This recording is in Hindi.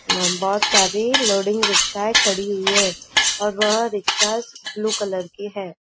बहुत सारी लोडिंग रिक्शाये खड़ी हुई है और वह रिक्शास ब्लू कलर कि है।